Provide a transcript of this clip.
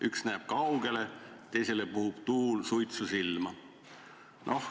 Üks näeb kaugele, teisele puhub tuul suitsu silma.